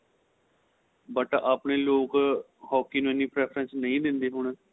but ਆਪਣੇਂ ਲੋਕ hockey ਨੂੰ ਐਨੀ preference ਨਹੀਂ ਦਿੰਦੇ ਹੁਣ